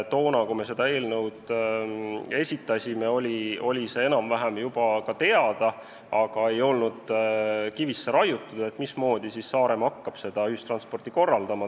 Toona, kui me seda eelnõu esitasime, oli see enam-vähem juba ka teada, aga ei olnud kivisse raiutud, mismoodi Saaremaa hakkab ühistransporti korraldama.